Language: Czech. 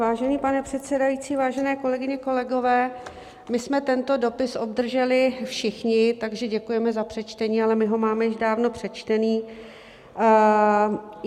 Vážený pane předsedající, vážené kolegyně, kolegové, my jsme tento dopis obdrželi všichni, takže děkujeme za přečtení, ale my ho máme již dávno přečtený.